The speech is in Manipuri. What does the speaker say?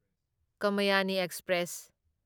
ꯀꯃꯌꯥꯅꯤ ꯑꯦꯛꯁꯄ꯭ꯔꯦꯁ